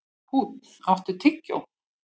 Húnn, áttu tyggjó?